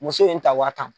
Muso in ta wa tan